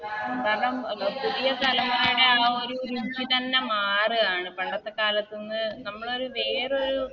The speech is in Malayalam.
കാരണം പുതിയ തലമുറയുടെ ആ ഒരു രുചി തന്നെ മാറാണ് പണ്ടത്തെ കാലത്ത്ന്ന് നമ്മളൊരു വേറൊരു